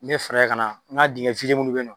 Ne fɛɛrɛ kana ŋa diŋɛ fize minnu be ye nɔ